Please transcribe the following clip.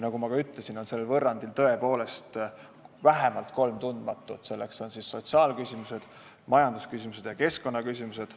Nagu ma ka ütlesin, sellel võrrandil on tõepoolest vähemalt kolm tundmatut, need on sotsiaalküsimused, majandusküsimused ja keskkonnaküsimused.